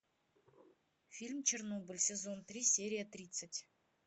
фильм чернобыль сезон три серия тридцать